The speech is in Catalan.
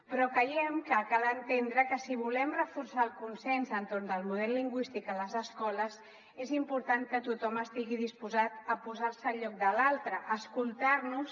però creiem que cal entendre que si volem reforçar el consens entorn del model lingüístic a les escoles és important que tothom estigui disposat a posar se al lloc de l’altre a escoltar nos